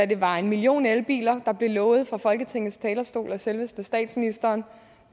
det var en million elbiler der blev lovet fra folketingets talerstol af selveste statsministeren